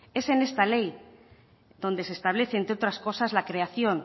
es en esta ley donde se establece entre otras cosas la creación